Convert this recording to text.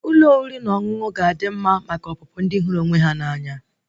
Ụlọ oriri na ọṅụṅụ ga adị mma maka ọpụpụ ndi hụrụ onwe ha na anya